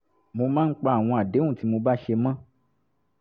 mo máa ń pa àwọn àdéhùn tí mo bá ṣe mọ́